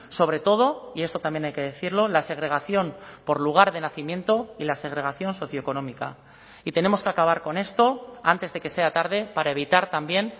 sobre todo y esto también hay que decirlo la segregación por lugar de nacimiento y la segregación socioeconómica y tenemos que acabar con esto antes de que sea tarde para evitar también